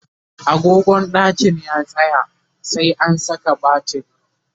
agogon ɗakin ya tsaya, sai an Saka batiri